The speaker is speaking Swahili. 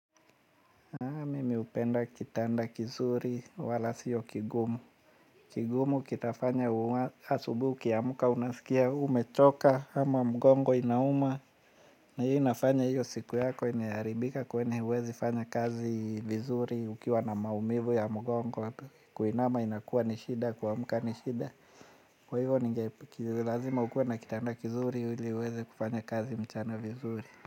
Mimi upenda kitanda kizuri wala siyo kigumu. Kigumu kitafanya asubuhi ya muka unasikia umechoka ama mgongo inauma. Na hiyo inafanya hiyo siku yako iniharibika kwenye huwezi fanya kazi vizuri ukiwa na maumivu ya mgongo. Kuinama inakuwa nishida kuamuka nishida. Kwa hiyo ninge kililazima ukuwa na kitanda kizuri hili uwezi kufanya kazi mchana vizuri.